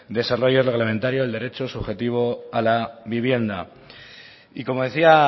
desarrollo reglamentario del derecho subjetivo a la vivienda y como decía